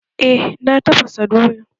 Eh na tafasa doyan